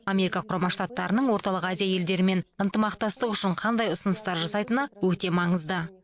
америка құрама штаттарының орталық азия елдерімен ынтымақтастық үшін қандай ұсыныстар жасайтыны өте маңызды